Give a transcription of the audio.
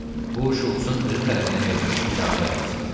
Bu Şults-un özü tərəfindən verilmiş icazə vərəqəsi idi.